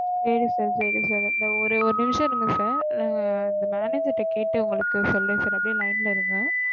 சேரி sir sorry sir இந்த ஒரு நிமிஷம் இருங்க sir நா இந்த manager கிட்ட கேட்டு ஒங்களுக்கு சொல்லுறேன் sir அப்டிய line ல இருங்க sir